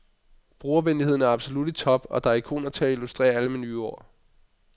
Brugervenligheden er absolut i top og der er ikoner til at illustrere alle menuord.